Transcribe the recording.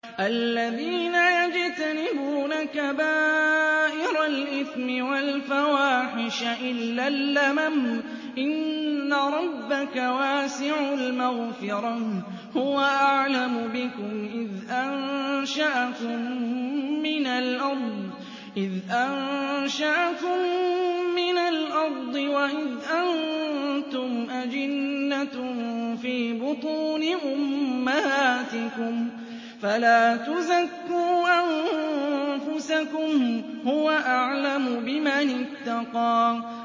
الَّذِينَ يَجْتَنِبُونَ كَبَائِرَ الْإِثْمِ وَالْفَوَاحِشَ إِلَّا اللَّمَمَ ۚ إِنَّ رَبَّكَ وَاسِعُ الْمَغْفِرَةِ ۚ هُوَ أَعْلَمُ بِكُمْ إِذْ أَنشَأَكُم مِّنَ الْأَرْضِ وَإِذْ أَنتُمْ أَجِنَّةٌ فِي بُطُونِ أُمَّهَاتِكُمْ ۖ فَلَا تُزَكُّوا أَنفُسَكُمْ ۖ هُوَ أَعْلَمُ بِمَنِ اتَّقَىٰ